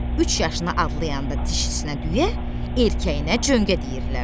Üç yaşına adlayanda dişisinə düyə, erkəyinə cöngə deyirdilər.